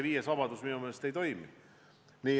Viies vabadus minu meelest jätkuvalt ei toimi.